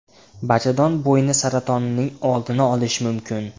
Bachadon bo‘yni saratonining oldini olish mumkin.